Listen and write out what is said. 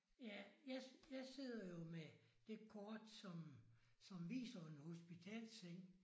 Ja jeg jeg sidder jo med det kort som som viser en hospitalsseng